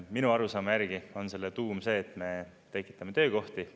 Minu arusaama järgi on selle tuum see, et me tekitame töökohti.